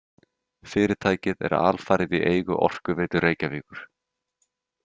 Fyrirtækið er alfarið í eigu Orkuveitu Reykjavíkur.